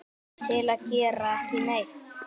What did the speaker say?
til að gera ekki neitt